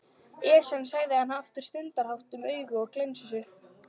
Esjan sagði hann aftur stundarhátt og augun glenntust upp.